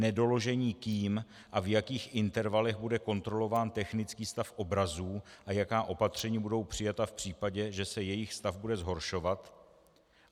- nedoložení kým a v jakých intervalech bude kontrolován technický stav obrazů a jaká opatření budou přijata v případě, že se jejich stav bude zhoršovat;